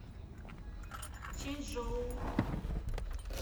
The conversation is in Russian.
чэньчжоу